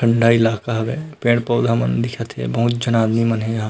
डंडा इलाका हवय पेड़-पौधा मन दिखत हे बहुत झन आदमी मन हे यहाँ--